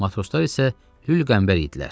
Matroslar isə lül qəmbər idilər.